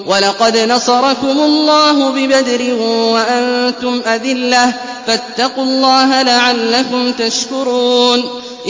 وَلَقَدْ نَصَرَكُمُ اللَّهُ بِبَدْرٍ وَأَنتُمْ أَذِلَّةٌ ۖ فَاتَّقُوا اللَّهَ لَعَلَّكُمْ تَشْكُرُونَ